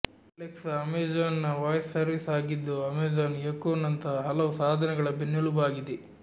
Alexa Amazon ನ voice service ಆಗಿದ್ದು Amazon Echo ನಂತಹ ಹಲವು ಸಾಧನಗಳ ಬೆನ್ನೆಲುಬಾಗಿದೆ